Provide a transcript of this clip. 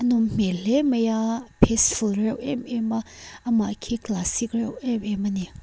nawm hmel mai a peaceful reuh em em a amah khi classic reuh em em a ni.